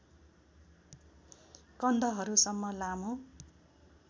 कन्धहरुसम्म लामो